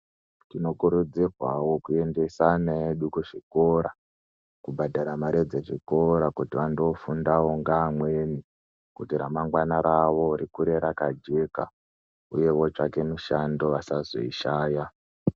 Tinokurudzirwawo kuendesa ana edu kuzvikora, kubhadhara mari dzechikora kuti vandofundawo ngeamweni kuti ramangwana rawo rikure rakajeka uyewo tsvake mishando asazoishaya .